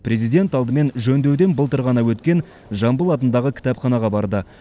президент алдымен жөндеуден былтыр ғана өткен жамбыл атындағы кітапханаға барды